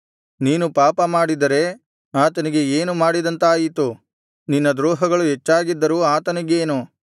ನೀನು ಪಾಪಮಾಡಿದ್ದರೆ ಆತನಿಗೆ ಏನು ಮಾಡಿದಂತಾಯಿತು ನಿನ್ನ ದ್ರೋಹಗಳು ಹೆಚ್ಚಾಗಿದ್ದರೂ ಆತನಿಗೇನು